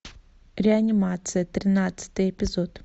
реанимация тринадцатый эпизод